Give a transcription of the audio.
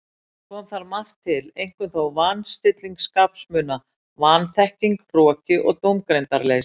Kom þar margt til, einkum þó van- stilling skapsmuna, vanþekking, hroki og dómgreindarleysi.